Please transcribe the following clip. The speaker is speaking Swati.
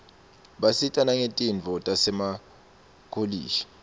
basita nangetifundvo tasemakolishi